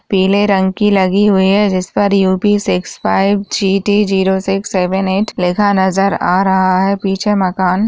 पीले रंग की लगी हुई है जिस पर UP. Six five GT. Zero six seven eight लिखा नजर आ रहा है पीछे मकान --